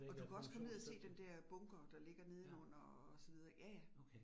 Og du kan også komme ned og se den der bunker, der ligger nedenunder og så videre ik ja ja